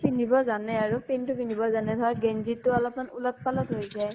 পিন্ধিব জানে আৰু । pant তো পিন্ধিব জানে, ধৰা গেন্জিতো অলপ মান উলত পালত হৈ যায় ।